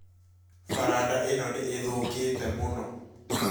Faranda ĩno nĩ ĩthũũkĩĩte mũno